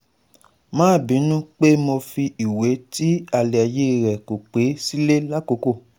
Ma binu pe mo fi iwe ti alaye re ko pe sile lakoko